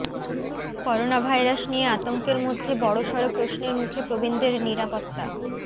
coronavirus নিয়ে আতঙ্কের মধ্যে বড়সড় প্রশ্নের মুখে প্রবীণদের নিরাপত্তা